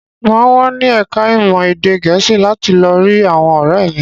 Mà á wà ní ẹ̀ka-ìmọ̀ èdè Gẹ̀ẹ́sì láti lọ rí àwọn ọ̀rẹ́ mi.